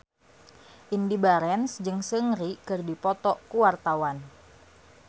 Indy Barens jeung Seungri keur dipoto ku wartawan